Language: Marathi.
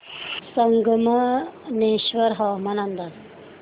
संगमनेर हवामान अंदाज